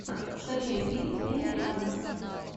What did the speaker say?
скачай фильм эми адамс